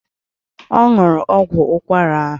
Ọ nwụrụ ọgwụ ụkwara ahụ